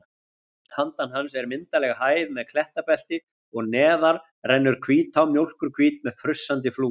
Handan hans er myndarleg hæð með klettabelti og neðar rennur Hvítá, mjólkurhvít með frussandi flúðum.